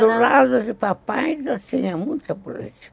Do lado de papai, já tínhamos muita política.